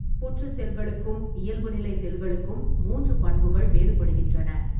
புற்று செல்களுக்கும் இயல்புநிலை செல்களுக்கும் மூன்று பண்புகள் வேறுபடுகின்றன.